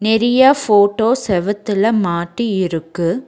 நெரிய photo செவுத்துல மாட்டி இருக்கு.